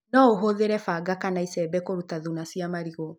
No ũhũthĩre banga kana icembe kuruta thuna cia marigũ.